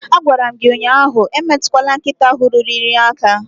Agwara m gi ụnyahụ emetukwala nkịta ahụ ruru unyi aka